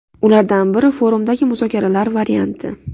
Ulardan biri forumdagi muzokaralar varianti.